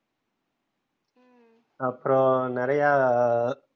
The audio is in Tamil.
அப்புற நெறைய